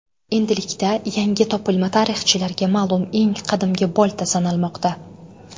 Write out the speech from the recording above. Endilikda yangi topilma tarixchilarga ma’lum eng qadimgi bolta sanalmoqda.